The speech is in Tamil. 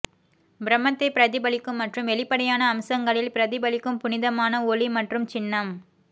பிரம்மத்தை பிரதிபலிக்கும் மற்றும் வெளிப்படையான அம்சங்களில் பிரதிபலிக்கும் புனிதமான ஒலி மற்றும் சின்னம்